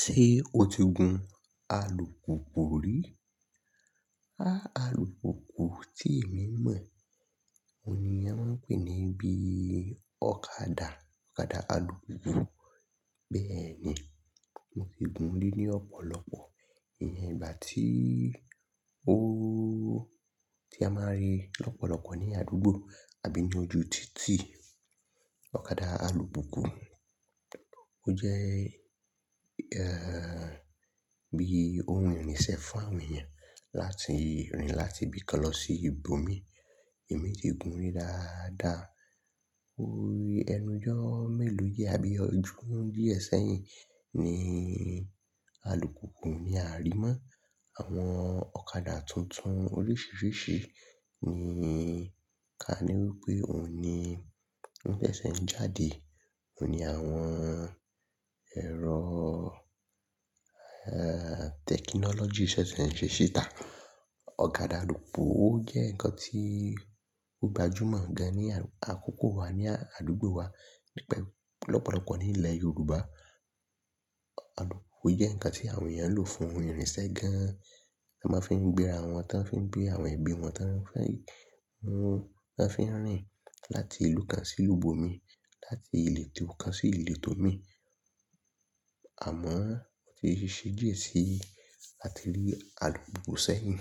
Ṣé o ti gun alùpùpù rí? Alùpùpù tí èmi mọ̀, òun ni wọ́n ń pè ní bí ọ̀kadà, ọ̀kadà alùpùpù. Kíni eleyi, mo ti gun rí ní ọ̀pọ̀lọpọ̀ ìgbà tí ó, tí a máa ń rí ọ̀pọ̀lọpọ̀ ní àdúgbò àbí ní ojú títì. Ọ̀kadà alùpùpù, ó jẹ́ bí ohun ìrìnsẹ̀ fún àwọn èèyàn láti rìn láti ibìkan lọ sí ibòmíràn. Èmi ti gun rí dáadáa. Ẹnu ijọ́ mélòó bóyá bí ọjọ́ di ẹ sẹ́yìn ni alùpùpù ni a rí mọ́. Àwọn ọ̀kadà tuntun oríṣiiríṣii ni ká ní wípé òun ni ó ṣẹ̀ ṣẹ̀ ń jáde. Ó ní àwọn ẹ̀rọ tẹ̀kìnọ́lọ́jì ṣẹ̀ ṣẹ̀ ń ṣe síta. Ọ̀kadà alùpùpù ó jẹ́ nǹkan tí ó gbajúmọ̀ gan ní àkókò wa ní àdúgbò wa nípa ọ̀pọ̀lọpọ̀ ní ilẹ̀ Yorùbá. Alùpùpù jẹ́ nǹkan tí àwọn èèyàn ń lò fún ìrìnsẹ̀ gan. Mo máa ń fi gbéra wọn, tan fi ń gbé àwọn ẹbí wọn, tan--tan fi ń rìn láti ìlú kan sí ìlú bomi, láti ìletò kan sí ìletò mi. Àmọ́ èyí ṣe díẹ̀ sẹ́yìn láti rí alùpùpù sẹ́yìn.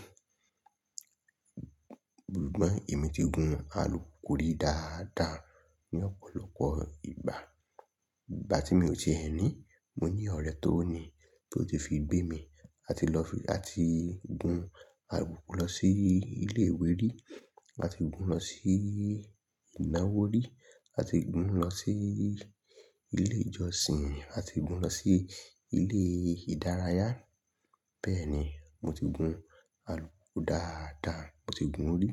Ṣùgbọ́n èmi ti gun alùpùpù rí dáadáa ní ọ̀pọ̀lọpọ̀ ìgbà. Ìgbà tí mi o ti ẹ̀ ní, mo ní ọ̀rẹ́ tó ní, tó ti fi gbé mi, a ti lọ fi, a ti gun alùpùpù lọ sí ilé ìwé rí, a ti gun lọ sí ìnáwó rí, a ti gun lọ sí ilé ìjọsìn, a ti gun lọ sí ilé ìdárayá. Bẹ́ẹ̀ ni mo ti gun alùpùpù dáadáa, mo ti gun rí.